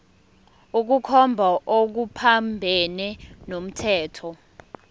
ukukhomba okuphambene nomthetho